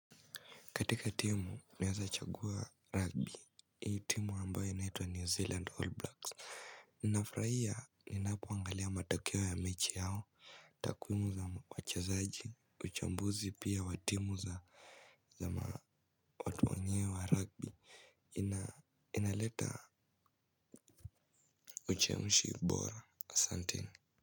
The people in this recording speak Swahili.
Katika timu naweza chagua rugby, hii timu ambayo inaitwa New Zealand All Blacks. Ninafraia ninapoangalia matokewo ya mechi yao, takuimu za wachazaji, uchambuzi pia wa timu za watu wenyewe wa rugby. Inaleta uchemushi mbora, santini.